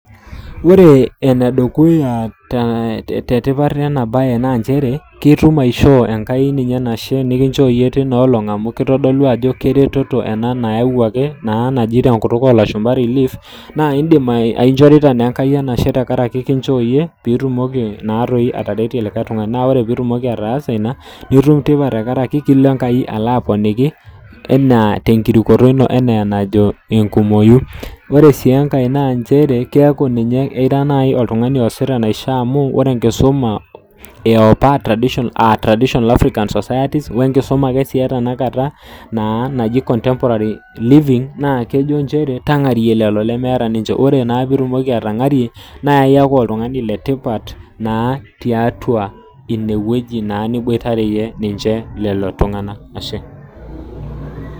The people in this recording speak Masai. ore enedukuya naa enkishooroto enashe tenkai amuu nikinchoo ena najo ilashumba relief nikiinchoo yie piitumoki ateretie likae tungungani naa ekitumoki ninye enkai anyaaki atoponiki. ore ekisuma epa aa african traditional society enetene tenakata aa contemporary living naa kejo tangarie lelo lemeeta amu ina kata kiponikini.